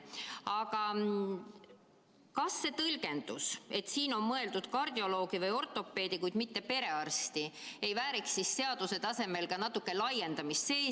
Aga kas see tõlgendus, et siin on mõeldud kardioloogi või ortopeedi, kuid mitte perearsti, ei vääriks seaduse tasemel ka natuke laiendamist?